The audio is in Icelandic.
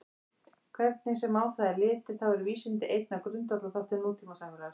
Hvernig sem á það er litið þá eru vísindi einn af grundvallarþáttum nútímasamfélags.